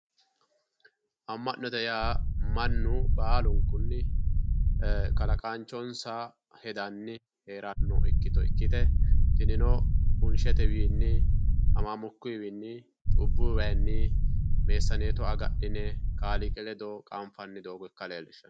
Ama'note yaa Mannu baallunkunni kalaqanchonsa hedanni heerano ikkitto ikkite tinino bunshetewinni hamamukkotewinni cubbu waayinni meessanetto agadhine Kaaliiqi ledo qanfanni doogo ikka leellishano.